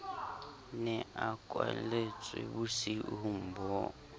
ne a kwalletswe bosiung bo